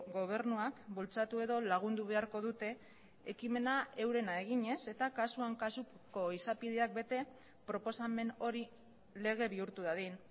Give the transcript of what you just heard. gobernuak bultzatu edo lagundu beharko dute ekimena eurena eginez eta kasuan kasuko izapideak bete proposamen hori lege bihurtu dadin